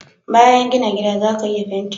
bayan gina gida zaka iya fenti